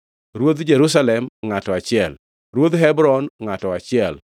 Ruodh Jerusalem, ngʼato achiel, Ruodh Hebron, ngʼato achiel,